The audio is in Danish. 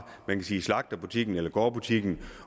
slagterbutikken eller gårdbutikken